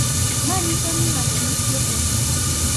Manyiso ni ng`ato nitie e ng`wech.